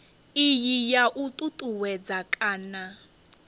iyi ya u ṱuṱuwedza kana